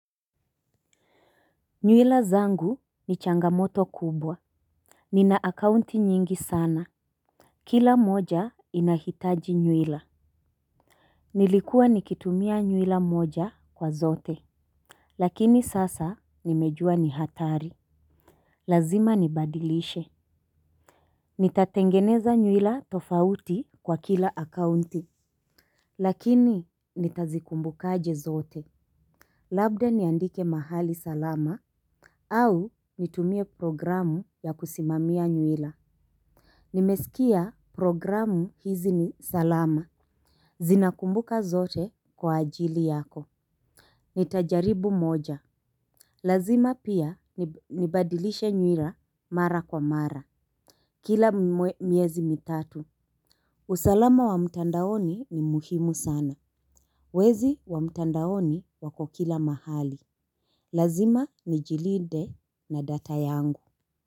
Nywila zangu ni changamoto kubwa. Nina akaunti nyingi sana. Kila moja inahitaji nywila. Nilikuwa nikitumia nywila moja kwa zote. Lakini sasa nimejua ni hatari. Lazima nibadilishe. Nitatengeneza nywila tofauti kwa kila akaunti. Lakini nitazikumbukaje zote. Labda niandike mahali salama au nitumie programu ya kusimamia nywila. Nimesikia programu hizi ni salama. Zinakumbuka zote kwa ajili yako. Nitajaribu moja. Lazima pia nibadilishe nywila mara kwa mara. Kila miezi mitatu usalama wa mtandaoni ni muhimu sana. Wezi wa mtandaoni wako kila mahali. Lazima nijilinde na data yangu.